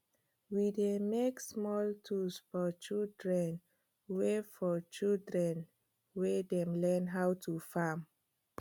we dey make small tools for children wey for children wey dey learn how to farm